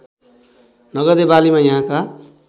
नगदे बालीमा यहाँका